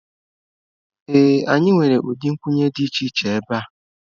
Ee anyị nwere ụdị nkwụnye dị iche iche ebe a